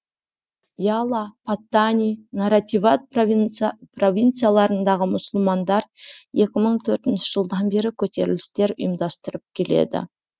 яла паттани наративат провинцияларындағы мұсылмандар екі мың төртінші жылдан бері көтерілістер ұйымдастырып келеді